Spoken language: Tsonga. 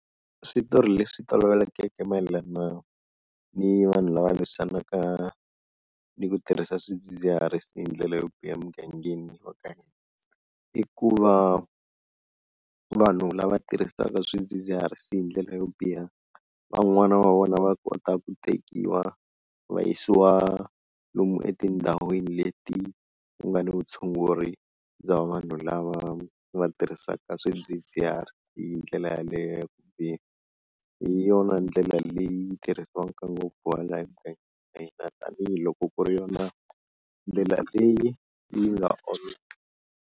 Switori leswi tolovelekeke mayelana ni vanhu lava lwisanaka ni ku tirhisa swidzidziharisi hi ndlela yo biha emugangeni wa ka hina, i ku va vanhu lava tirhisaka swidzidziharisi hi ndlela yo biha van'wana va vona va kota ku tekiwa va yisiwa lomu etindhawini leti ku nga ni vutshunguri bya vanhu lava va tirhisaka swidzidziharisi hi ndlela yaleyo ya ku biha, hi yona ndlela leyi tirhisiwaka ngopfu tanihiloko ku ri yona ndlela leyi yi nga .